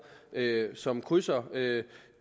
som krydser